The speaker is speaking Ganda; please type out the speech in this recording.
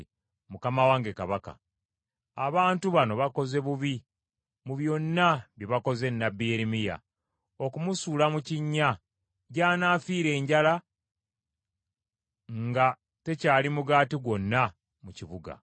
“Mukama wange kabaka, abantu bano bakoze bubi mu byonna bye bakoze nnabbi Yeremiya okumusuula mu kinnya, gy’anafiira enjala nga tekyali mugaati gwonna mu kibuga.”